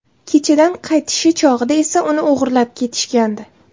Kechadan qaytishi chog‘ida esa uni o‘g‘irlab ketishgandi.